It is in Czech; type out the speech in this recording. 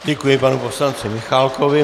Děkuji panu poslanci Michálkovi.